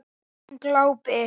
Hún glápir.